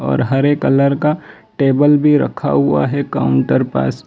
और हरे कलर का टेबल भीं रखा हुआ हैं काउंटर पास --